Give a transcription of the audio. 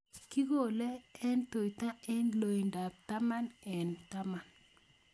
Kikole eng' tuta eng' loindo ab taman eng' taman